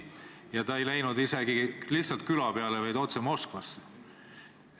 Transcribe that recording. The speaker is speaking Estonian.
Herman Simm ei läinud isegi lihtsalt küla peale, vaid otse Moskvasse.